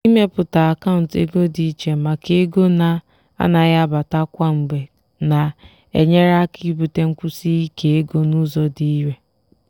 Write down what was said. ịmepụta akaụntụ ego dị iche maka ego na-anaghị abata kwa mgbe na-enyere aka ibute nkwụsi ike ego n'ụzọ dị irè.